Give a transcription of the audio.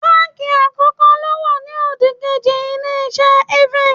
Báǹkì àkọ́kọ́ ló wà ní òdìkejì Ilé-iṣẹ́ Evans